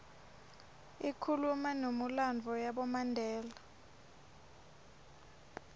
ikhuluma numilandvo yabomandela